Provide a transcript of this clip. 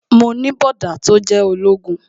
Mo ní bọ̀dá tó jẹ́ ológun